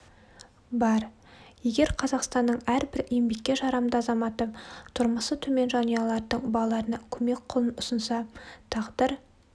бар егер қазақстанның әрбір еңбекке жарамды азаматы тұрмысы төмен жанұялардын балаларына көмек қолын ұсынса тағдыр